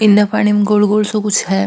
ऐना पानी में गोल गोल सो कुछ है।